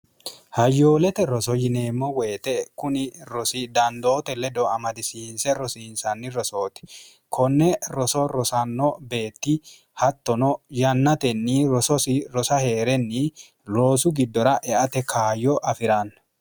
hayyoolete roso yineemmo woyite kuni rosi dandoote ledo amadisiinse rosiinsanni rosooti konne roso rosanno beetti hattono yannatenni rososi rosa hee'renni loosu giddora eate kaayyo afi'ranna